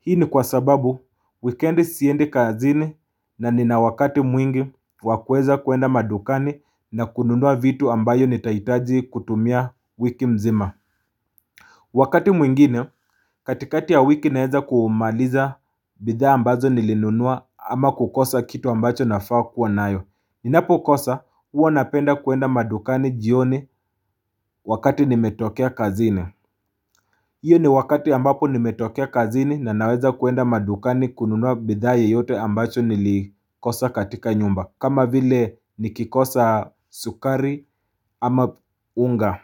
Hii ni kwa sababu weekend siendi kazini na nina wakati mwingi wa kuweza kwenda madukani na kununua vitu ambayo nitaitaji kutumia wiki mzima. Wakati mwingine katikati ya wiki naweza kumaliza bidhaa ambazo nilinunua ama kukosa kitu ambacho nafaa kuwa nayo. Ninapokosa huwa napenda kuenda madukani jioni wakati nimetokea kazini. Hiyo ni wakati ambapo nimetokea kazini na naweza kuenda madukani kununua bidhaa yeyote ambacho nilikosa katika nyumba kama vile nikikosa sukari ama unga.